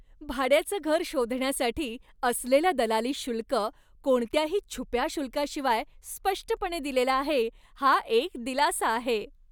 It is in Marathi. भाड्याचं घर शोधण्यासाठी असलेलं दलाली शुल्क कोणत्याही छुप्या शुल्काशिवाय स्पष्टपणे दिलेलं आहे, हा एक दिलासा आहे.